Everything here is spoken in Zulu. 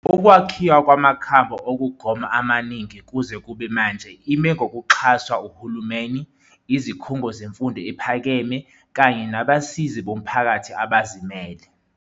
Ukwakhiwa kwamakhambi okugoma amaningi kuze kube manje ime ngokuxhaswa uhulumeni, izikhungo zemfundo ephakeme kanye nabasizi bomphakathi abazimele.